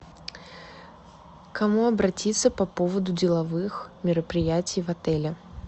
к кому обратиться по поводу деловых мероприятий в отеле